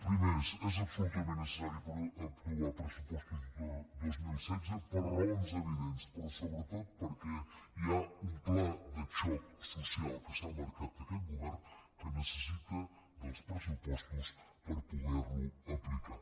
primer és absolutament necessari aprovar pressupostos de dos mil setze per raons evidents però sobretot perquè hi ha un pla de xoc social que s’ha marcat aquest govern que necessita els pressupostos per poder lo aplicar